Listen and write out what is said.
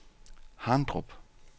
Harndrup